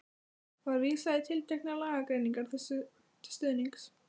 Var vísað í tilteknar lagagreinar þessu til stuðnings.